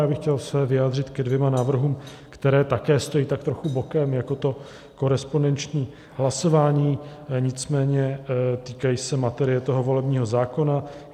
Já bych se chtěl vyjádřit ke dvěma návrhům, které také stojí tak trochu bokem jako to korespondenční hlasování, nicméně týkají se materie toho volebního zákona.